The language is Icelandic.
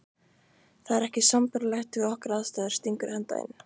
Það er ekki sambærilegt við okkar aðstæður, stingur Edda inn.